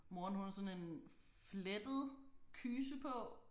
Moren hun har sådan en flettet kyse på